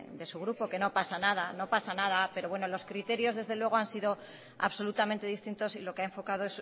de su grupo que no pasa nada que no pasa nada pero bueno los criterios desde luego han sido absolutamente distintos y lo que ha enfocado